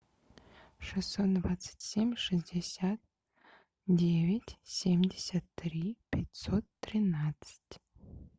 шестьсот двадцать семь шестьдесят девять семьдесят три пятьсот тринадцать